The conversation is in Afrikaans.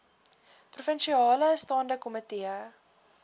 provinsiale staande komitee